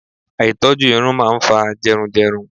Àìtọ́jú irun máa ń fa jẹrun jẹrun.